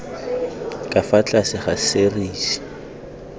ka fa tlase ga serisi